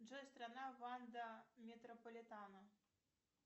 джой страна ванда метрополитано